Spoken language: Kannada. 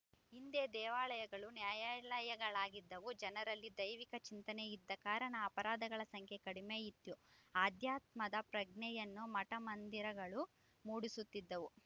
ಹಿಂದೆ ದೇವಾಲಯಗಳು ನ್ಯಾಯಾಲಯಗಳಾಗಿದ್ದವು ಜನರಲ್ಲಿ ದೈವಿಕ ಚಿಂತನೆ ಇದ್ದ ಕಾರಣ ಅಪರಾಧಗಳ ಸಂಖ್ಯೆ ಕಡಿಮೆ ಇತ್ತು ಅಧ್ಯಾತ್ಮದ ಪ್ರಜ್ಞೆಯನ್ನು ಮಠ ಮಂದಿರಗಳು ಮೂಡಿಸುತ್ತಿದ್ದವು